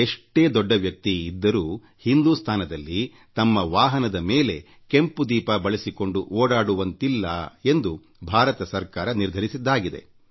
ಎಷ್ಟೇ ದೊಡ್ಡ ವ್ಯಕ್ತಿ ಇದ್ದರೂ ಭಾರತದಲ್ಲಿ ತಮ್ಮ ವಾಹನದ ಮೇಲೆ ಕೆಂಪು ದೀಪ ಅಳವಡಿಸಿಕೊಂಡು ಓಡಾಡುವಂತಿಲ್ಲ ಎಂದು ಭಾರತ ಸರ್ಕಾರ ನಿರ್ಧರಿಸಿದೆ